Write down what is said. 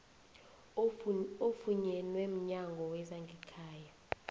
ofunyenwe mnyango wezangekhaya